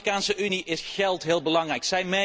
Voor de Afrikaanse Unie is geld heel belangrijk.